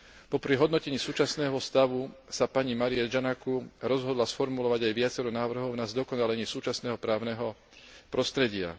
Popri hodnotení súčasného stavu sa pani Marietta Giannakou rozhodla sformulovať aj viacero návrhov na zdokonalenie súčasného právneho prostredia.